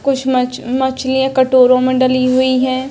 कुछ मछ मछलियाँ कटोरों में डली हुई हैं।